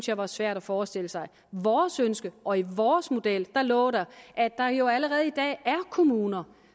jeg var svært at forestille sig i vores ønske og i vores model lå der at der jo allerede i dag er kommuner